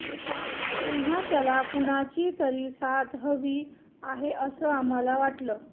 तेव्हा त्याला कुणाची तरी साथ हवी आहे असं आम्हाला वाटलं